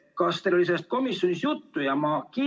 Kas teil oli sellest komisjonis juttu?